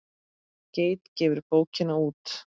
Geit gefur bókina út.